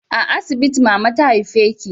A asibiti mama ta haife ki